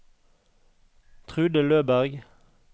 Trude Løberg